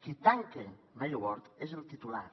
qui tanca mary ward és el titular